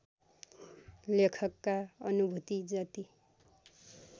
लेखकका अनुभूति जति